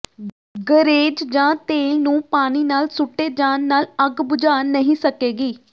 ਗਰੇਜ਼ ਜਾਂ ਤੇਲ ਨੂੰ ਪਾਣੀ ਨਾਲ ਸੁੱਟੇ ਜਾਣ ਨਾਲ ਅੱਗ ਬੁਝਾ ਨਹੀਂ ਸਕੇਗੀ